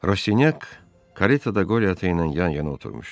Raşinyak karetada Qote ilə yan-yana oturmuşdu.